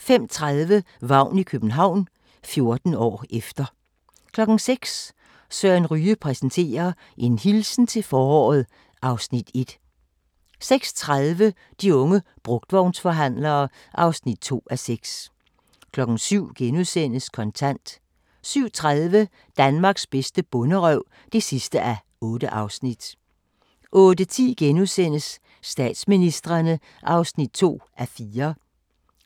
05:30: Vagn i København – 14 år efter 06:00: Søren Ryge præsenterer: En hilsen til foråret (Afs. 1) 06:30: De unge brugtvognsforhandlere (2:6) 07:00: Kontant * 07:30: Danmarks bedste bonderøv (8:8) 08:10: Statsministrene (2:4)*